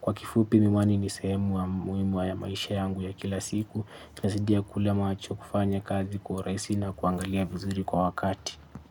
Kwa kifupi miwani ni sehemu muimu wa ya maisha yangu ya kila siku inasaidia kule macho kufanya kazi kwa uraisi na kuangalia vizuri kwa wakati.